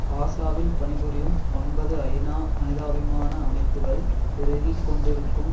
காசாவில் பணிபுரியும் ஒன்பது ஐநா மனிதாபிமான அமைப்புக்கள் பெருகி கொண்டிருக்கும்